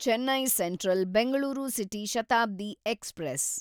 Chennai central Bengaluru city Shatabdi express